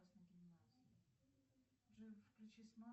салют вернись на начало